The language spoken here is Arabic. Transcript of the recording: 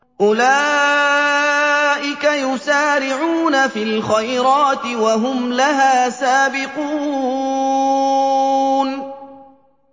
أُولَٰئِكَ يُسَارِعُونَ فِي الْخَيْرَاتِ وَهُمْ لَهَا سَابِقُونَ